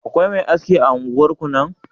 Akwai Me aski a unguwar nan?